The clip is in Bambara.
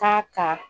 K'a ka